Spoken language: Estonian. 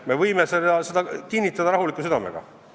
Me võime seda kinnitada rahuliku südamega.